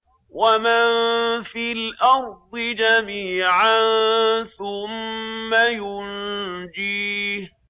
وَمَن فِي الْأَرْضِ جَمِيعًا ثُمَّ يُنجِيهِ